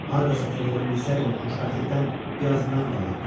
Harada satıldığını bilsəydim, o xoşbəxtlikdən biraz mən də alardım.